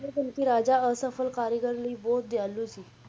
ਰਾਜਾ ਅਸਫਲ ਕਾਰੀਗਰਾਂ ਲਈ ਬਹੁਤ ਦਿਆਲੂ ਸੀ,